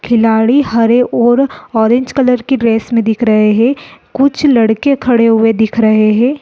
खिलाड़ी हरे और ऑरेंज कलर के ड्रेस में दिख रहे है कुछ लड़के खड़े हुए दिख रहे है।